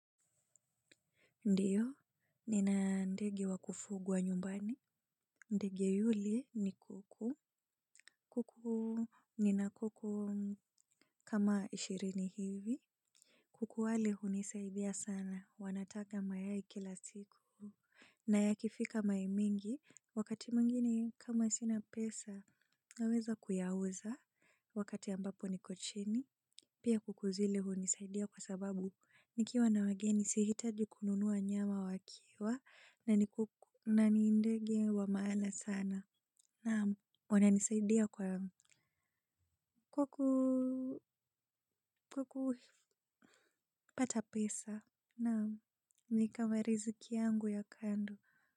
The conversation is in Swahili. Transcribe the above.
Ndio, nina ndege wakufugwa nyumbani. Ndege yule ni kuku. Kuku ni na kuku kama ishirini hivi. Kuku wale hunisaidia sana. Wanataga mayai kila siku. Na yakifika mayai mingi. Wakati mwingine kama sina pesa. Naweza kuyauza. Wakati ambapo niko chini. Pia kuku zile hunisaidia kwa sababu. Nikiwa na wageni si hitaji kununua nyama wakiwa. Na ni kuku na ni ndege wa maana sana naam wana nisaidia kwa ku kupata pesa naam ni kama riziki yangu ya kando.